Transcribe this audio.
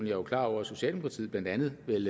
er jo klar over at socialdemokratiet blandt andet vel